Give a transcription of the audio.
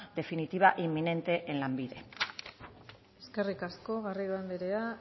definitiva e inminente en lanbide eskerrik asko garrido andreak